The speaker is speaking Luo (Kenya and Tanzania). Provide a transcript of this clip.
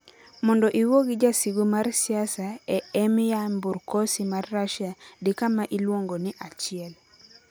Mondo iwuo gi jasigu mar siasa e Emnyamburkosy mar Russia, di kama iluongo ni 1.